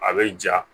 A be ja